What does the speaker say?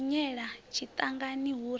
ḓi hwenyela tshiṱangani hu re